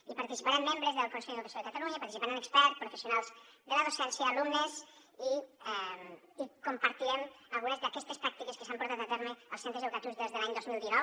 hi participaran membres del consell d’educació de catalunya hi participaran experts professionals de la docència alumnes i hi compartirem algunes d’aquestes pràctiques que s’han portat a terme als centres educatius des de l’any dos mil dinou